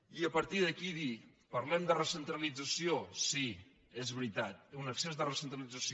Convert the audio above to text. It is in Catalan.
i a partir d’aquí dir parlem de recentralització sí és veritat un excés de recentralització